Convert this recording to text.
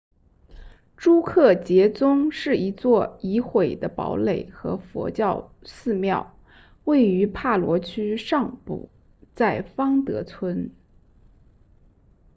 朱克杰宗 drukgyal dzong 是一座已毁的堡垒和佛教寺庙位于帕罗区上部在方德村